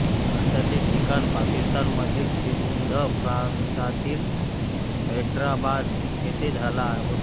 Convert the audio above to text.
आता ते ठिकाण पाकिस्तानमधील सिंध प्रांतातील हेड्राबाद येथे झाला होता